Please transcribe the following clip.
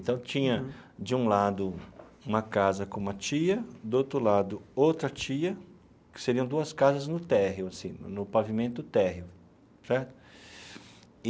Então tinha, de um lado, uma casa com uma tia, do outro lado, outra tia, que seriam duas casas no térreo assim no no pavimento térreo certo e.